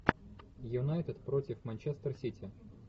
юнайтед против манчестер сити